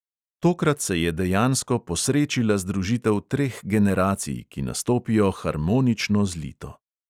Tokrat se je dejansko posrečila združitev treh generacij, ki nastopijo harmonično zlito.